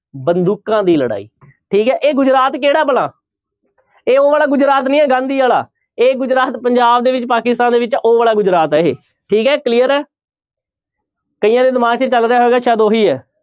ਬੰਦੂਕਾਂ ਦੀ ਲੜਾਈ ਠੀਕ ਹੈ ਇਹ ਗੁਜਰਾਤ ਕਿਹੜਾ ਭਲਾ, ਇਹ ਉਹ ਵਾਲਾ ਗੁਜਰਾਤ ਨਹੀਂ ਹੈ ਗਾਂਧੀ ਵਾਲਾ, ਇਹ ਗੁਜਰਾਤ ਪੰਜਾਬ ਦੇ ਵਿੱਚ ਪਾਕਿਸਤਾਨ ਦੇ ਵਿੱਚ ਆ ਉਹ ਵਾਲਾ ਗੁਜਰਾਤ ਹੈ ਇਹ, ਠੀਕ ਹੈ clear ਹੈ ਕਈਆਂ ਦੇ ਦਿਮਾਗ ਵਿੱਚ ਚੱਲ ਰਿਹਾ ਹੋਏਗਾ ਸ਼ਾਇਦ ਉਹ ਹੀ ਹੈ।